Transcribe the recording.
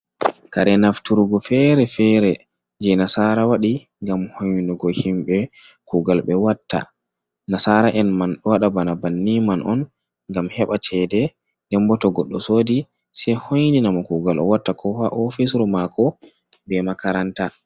Kare nafturgo fere fere je nasara waɗi ngam hoinungo himɓe kugal nasara en man ɗo waɗa bana banni man on ngam heɓa cede dem bo to goɗɗo sodi sei hoinina mo kugal o watta ko ha ofisru mako be makaranta.